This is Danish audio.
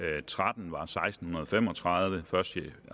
tretten var seksten fem og tredive første